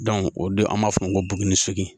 o de an b'a fɔ o ma ko bugun sigin